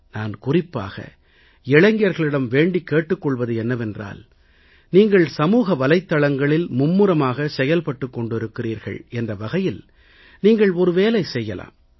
நான் குறிப்பாக இளைஞர்களிடம் வேண்டிக் கேட்டுக் கொள்வது என்னவென்றால் நீங்கள் சமூகவலைத்தளங்களில் மும்முரமாக செயல்பட்டுக் கொண்டு இருக்கிறீர்கள் என்ற வகையில் நீங்கள் ஒரு வேலை செய்யலாம்